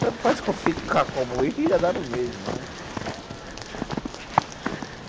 Tanto faz como ficar como ir, dá no mesmo, né?